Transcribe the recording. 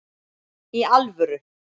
Í alvöru!